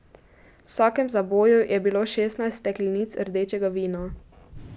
V vsakem zaboju je bilo šestnajst steklenic rdečega vina.